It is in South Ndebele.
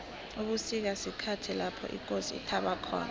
ubusika sikhathi lapho ikosi ithaba khona